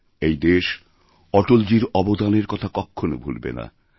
এই দেশ অটলজীর অবদানের কথাকখনো ভুলবে না